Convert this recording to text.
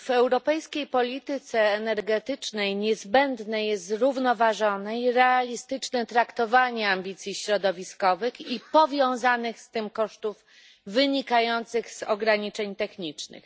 W europejskiej polityce energetycznej niezbędne jest zrównoważone i realistyczne traktowanie ambicji środowiskowych i powiązanych z tym kosztów wynikających z ograniczeń technicznych.